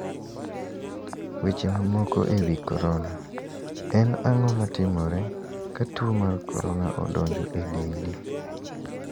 Weche mamoko e wi korona:En ang`o ma timore ka tuo mar korona odonjo e dendi?